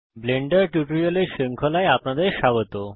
Blender টিউটোরিয়ালের শৃঙ্খলায় আপনাদের স্বাগত